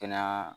Kɛnɛya